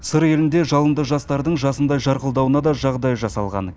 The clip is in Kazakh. сыр елінде жалынды жастардың жасындай жарқылдауына да жағдай жасалған